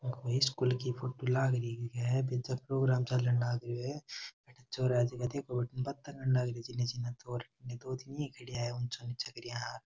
ओ कोई स्कूल की फोटो लाग रही है बिजन प्रोग्राम चलन लाग रो है अठे छोरा है जका देखो बठीने बाता करन लाग रिया है दो तीन ही खड़िया है ऊंचा नीचा करिया।